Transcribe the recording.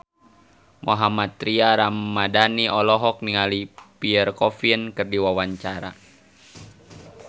Mohammad Tria Ramadhani olohok ningali Pierre Coffin keur diwawancara